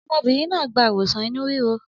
Ọmọbìnrin náà gba ìwòsàn inú ríro?